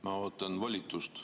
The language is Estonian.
Ma ootan volitust.